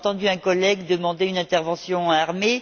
On a entendu un collègue demander une intervention armée.